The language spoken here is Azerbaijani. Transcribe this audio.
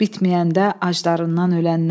Bitməyəndə acılarından ölənlər.